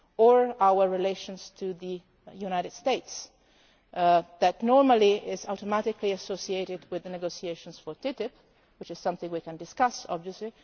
less than two weeks. Or our relations with the United States. That is normally automatically associated with the negotiations for TTIP, which is something we can